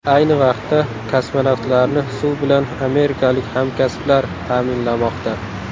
Ayni vaqtda kosmonavtlarni suv bilan amerikalik hamkasblar ta’minlamoqda.